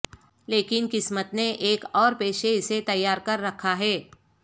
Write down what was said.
لیکن قسمت نے ایک اور پیشے اسے تیار کر رکھا ہے